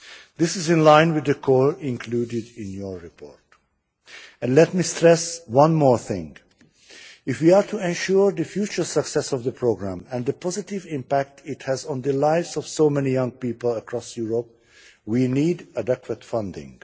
This is in line with the call included in your report. Let me stress one more thing if we are to ensure the future success of the programme and the positive impact it has on the lives of so many young people across Europe, we need adequate funding.